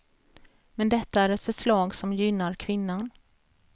Men detta är ett förslag som gynnar kvinnan.